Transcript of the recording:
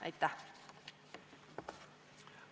Aitäh!